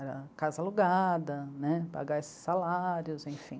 Era casa alugada, né, pagar esses salários, enfim.